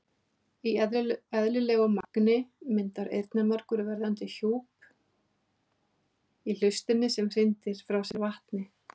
Í eðlilegu magni myndar eyrnamergur verndandi hjúp í hlustinni sem hrindir frá sér vatni.